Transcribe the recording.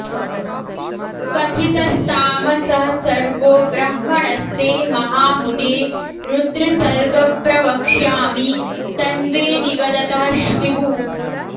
कथितस्तामसः सर्गो ब्रह्मणस्ते महामुने रुद्रसर्ग प्रवक्ष्यामि तन्मे निगदतः श्वृगु